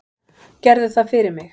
Gerðu það fyrir mig.